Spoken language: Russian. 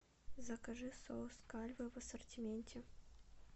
закажи соус кальве в ассортименте